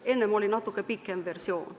Enne oli natuke pikem versioon.